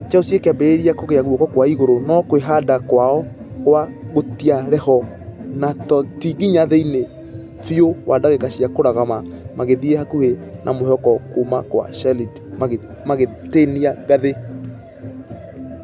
Chelsea ĩkĩambĩrĩria kũgĩa guokakwaigũrũ nũ kwĩhanda kwaokwa......gũtiarĩho na ti nginya thĩinĩ biũ wa dagĩka cia kũrũgama magĩthie hakuhĩ na mwĩhoko kuumakwarashid magĩtinia ngathĩ.